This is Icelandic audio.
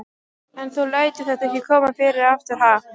En þú lætur þetta ekki koma fyrir aftur, ha?